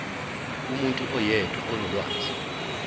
umuntu oyedwa onolwazi